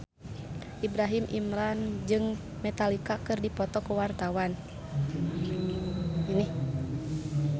Ibrahim Imran jeung Metallica keur dipoto ku wartawan